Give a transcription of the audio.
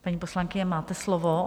Paní poslankyně, máte slovo.